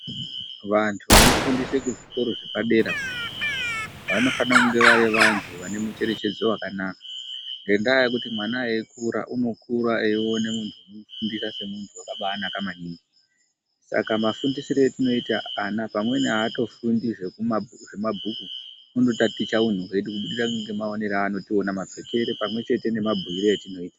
Vanthu vanofundise kuzvikora zvepa dera, vanosise kunge vari vanthu vane mucherechedzo wakanaka. Ngendaa yekuti mwana eikura unokura eione munthu unomufundisa semunthu wakanaka maningi. Saka mafundisire etinoita vana pamweni aatofundi zvemabhuku unotaticha unthu hwedu, mapfekere pamwepo nemabhuire edu etinoita.